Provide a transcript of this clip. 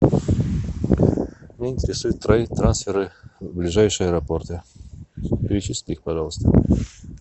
меня интересуют трансферы в ближайшие аэропорты перечисли их пожалуйста